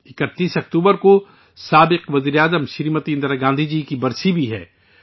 31 اکتوبر کو سابق وزیر اعظم محترمہ اندرا گاندھی جی کا یوم وفات بھی ہے